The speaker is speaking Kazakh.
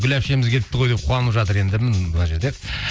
гүл әпшеміз келіпті ғой деп қуанып жатыр енді мына жерде